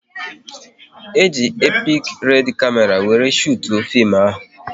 E ji epik red kamera wéré shutuo fim ahụ